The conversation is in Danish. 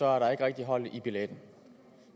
er der ikke rigtig hold i det